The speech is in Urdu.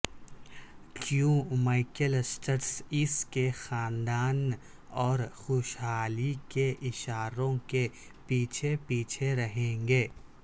کیون میکیلسٹرس اس کے خاندان اور خوشحالی کے اشاروں کے پیچھے پیچھے رہیں گے